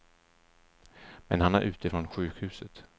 Men han är ute från sjukhuset.